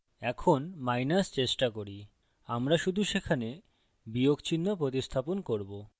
এখন মাইনাস বিয়োগ চেষ্টা করি আমরা শুধু সেখানে বিয়োগ চিহ্ন প্রতিস্থাপন করব